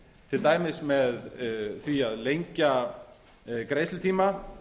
til dæmis með því að lengja greiðslutíma